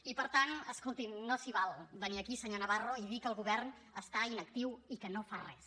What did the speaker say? i per tant escoltin no s’hi val a venir aquí senyor navarro i dir que el govern està inactiu i que no fa res